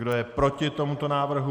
Kdo je proti tomuto návrhu?